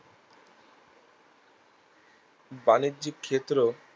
বাণিজ্যিক ক্ষেত্রেও